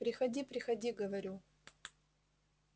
приходи приходи говорю